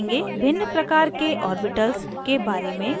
भिन्न प्रकार के ऑर्बिटल्स orbitals के बारे में